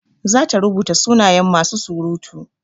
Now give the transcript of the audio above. Zata rubuta sunayen masu surutu.